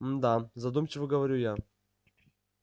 мда задумчиво говорю я